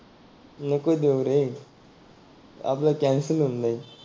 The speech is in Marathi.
नको देऊ रे आपल कॅन्सल होऊन जाईल.